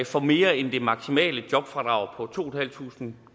får mere end det maksimale jobfradrag på to tusind